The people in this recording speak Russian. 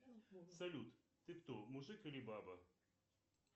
салют ты кто мужик или баба